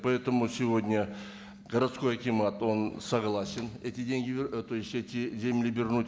поэтому сегодня городской акимат он согласен эти деньги ы то есть эти земли вернуть